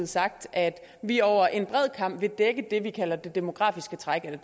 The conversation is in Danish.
sagt at vi over en bred kam vil dække det vi kalder det demografiske træk eller